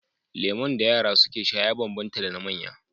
Lemon da yara suke sha ya banban ta da na manya